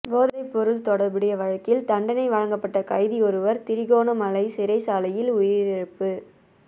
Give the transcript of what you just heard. போதைப்பொருள் தொடர்புடைய வழக்கில் தண்டனை வழங்கப்பட்ட கைதியொருவர் திருகோணமலை சிறைச்சாலையில் உயிரிழப்பு